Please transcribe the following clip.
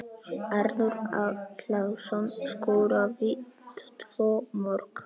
Arnór Atlason skoraði tvö mörk.